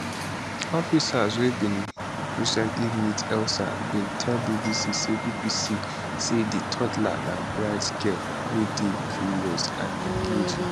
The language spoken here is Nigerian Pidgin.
officers wey bin recently meet elsa bin tell bbc say bbc say di toddler na bright girl wey dey curious and engaging